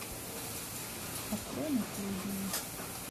открой наследие